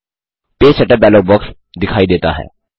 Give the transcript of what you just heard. page setup dialog box दिखाई देता है